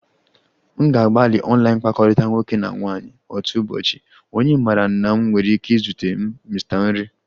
M ga-agbalị online mkpakọrịta nwoke na nwaanyị otu ụbọchị, onye maara na m nwere ike izute m Mr nri